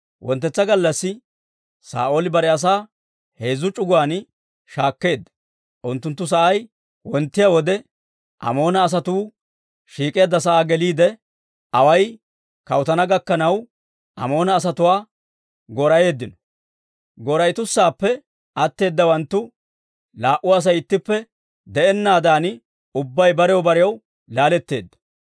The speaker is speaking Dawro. Wonttetsa gallassi Saa'ooli bare asaa heezzu c'uguwaan shaakkeedda; unttunttu sa'ay wonttiyaa wode, Amoona asatuu shiik'eedda sa'aa geliide, away kawuttana gakkanaw Amoona asatuwaa goora"eeddino; goora"etusaappe atteedawanttu laa"u Asay ittippe de'ennaadan ubbay barew barew laaletteedda.